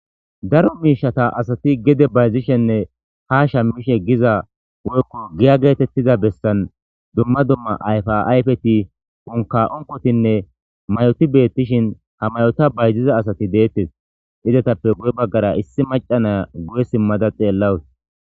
Daro miishata asati gede bayzishenne ha sha mmishe giza woykko giya geetettiza bessan dumma dumma ayfa'ayfeti unka onkotinne mayoti beettishin tamayota bayziza asati deettes izatappe gu'e baggara issi macanaa guye simmada xeellawus.